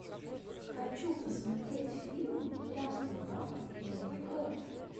хочу посмотреть фильм здравствуй папа новый год